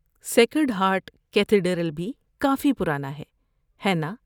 Sacred Heart Cathedral بھی کافی پرانا ہے، ہے نا؟